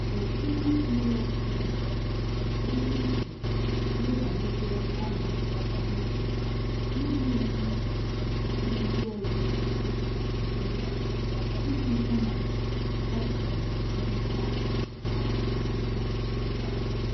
Ezinụlọ Smith ji ezi uche lebara ego ha na-emefu n'ihe oriri na ihe ndị ọzọ e ji ebi ndụ iji hụ na ọ gafeghị ihe ha na-enweta kwa ọnwa